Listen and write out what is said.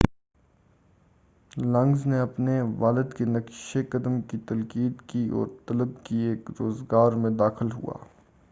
لگنز نے اپنے والد کے نقشِ قدم کی تقلید کی اور طب کے ایک روزگار میں داخل ہُوا